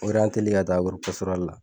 ka taa la